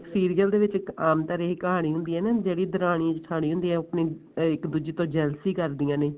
serial ਦੇ ਵਿਚ ਇੱਕ ਆਮ ਤਰ੍ਹਾਂ ਦੀ ਕਹਾਣੀ ਹੁੰਦੀ ਐ ਨਾ ਜਿਹੜੀ ਦਰਾਣੀ ਜਠਾਣੀ ਹੁੰਦੀ ਐ ਉਹ ਇੱਕ ਦੂਜੇ ਤੋਂ jealousy ਕਰਦੀਆਂ ਨੇ